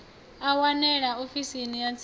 a wanalea ofisini ya tsini